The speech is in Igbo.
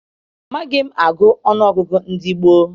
Amaghị m agụ ọṅụ ọgụgụ ndị gboo.